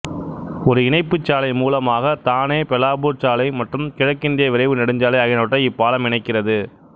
ஒரு இணைப்புச் சாலை மூலமாக தானே பெலாபூர் சாலை மற்றும் கிழக்கத்திய விரைவு நெடுஞ்சாலை ஆகியனவற்றை இப்பாலம் இணைக்கிறது